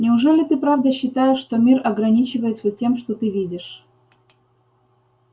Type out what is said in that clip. неужели ты правда считаешь что мир ограничивается тем что ты видишь